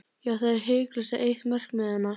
Já, það er hiklaust eitt markmiðanna.